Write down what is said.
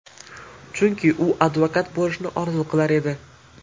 Chunki u advokat bo‘lishni orzu qilar edi.